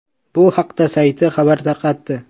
Bu haqda sayti xabar tarqatdi.